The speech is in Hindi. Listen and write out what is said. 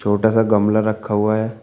छोटा सा गमला रखा हुआ है।